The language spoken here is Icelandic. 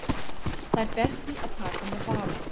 Þær ber því að taka með varúð.